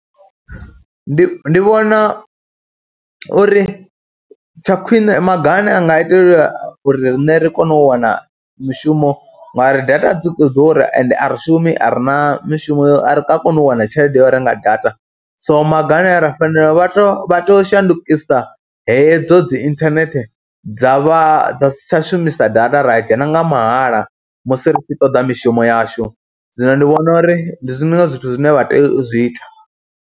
Ndi, ndi vhona uri tsha khwine maga ane anga itiwa uri riṋe ri kone u wana mushumo ngauri data dzi khou ḓura ende a ri shumi, a ri na mishumo, a ri nga koni u wana tshelede ya u renga data so maga ane a ra fanela, vha tea vha tea u shandukisa hedzo dzi inthanethe dza vha, dza si tsha shumisa data, ra ya dzhena nga mahala musi ri tshi toḓa mishumo yashu. Zwino ndi vhona uri ndi zwiṅwe zwithu zwine vha tea u zwi ita.